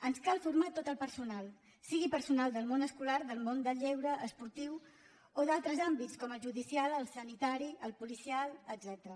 ens cal formar tot el personal sigui personal del món escolar del món del lleure esportiu o d’altres àmbits com el judicial el sanitari el policial etcètera